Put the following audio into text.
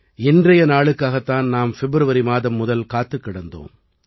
இன்றைய நாளுக்காகத் தான் நாம் ஃபிப்ரவரி மாதம் முதல் காத்துக் கிடந்தோம்